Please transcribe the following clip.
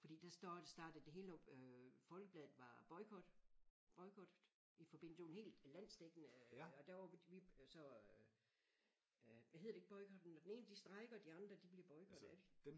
Fordi der står startede det hele op øh Folkebladet var boykot boykottet i forbindelse det var en hel landsdækkende øh og der var vi så øh hedder det ikke boykotten når den ene de strejker og de andre de bliver boykottet er det ikke?